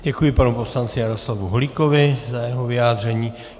Děkuji panu poslanci Jaroslavu Holíkovi za jeho vyjádření.